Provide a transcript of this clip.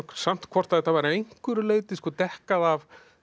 samt hvort að þetta væri að einhverju leyti dekkað af